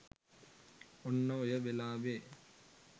ඔන්න ඔය වෙලාවේ